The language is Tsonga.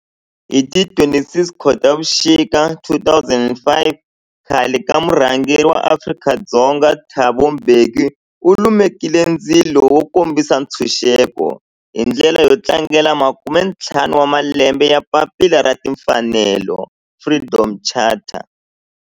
Hi ti 26 Khotavuxika 2005 khale ka murhangeri wa Afrika-Dzonga Thabo Mbeki u lumekile ndzilo wo kombisa ntshuxeko, hi ndlela yo tlangela makume-ntlhanu wa malembe ya papila ra timfanelo, Freedom Charter.